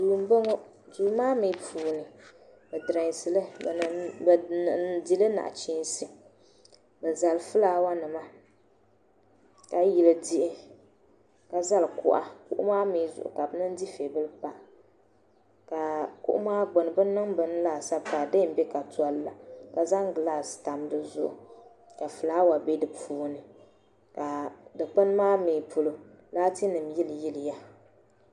Duu n boŋɔ duu maa mi puuni bɛ diresili bɛ dihili nachinsi bɛ zali filaawanima ka yili diɣi ka zali kuɣa kuɣu maa mi zuɣu ka bɛ zaŋ dufebili pa ka kuɣu maa gbini bɛ niŋ bini laasabu pa ka didiyenbe ka tolila ka zaŋ gilasi tam dizuɣu ka filaawa be dipuuni ka dikpini maa mi polo laatinima yiliyiliya.